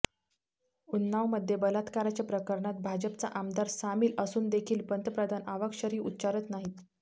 उन्नावमध्ये बलात्काराच्या प्रकरणात भाजपचा आमदार सामील असून देखील पंतप्रधान अवाक्षरही उच्चारत नाहीत